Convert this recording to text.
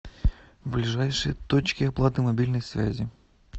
ближайшие точки оплаты мобильной связи